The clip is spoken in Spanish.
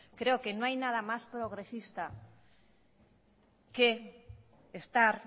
creo que no hay nada más progresista que estar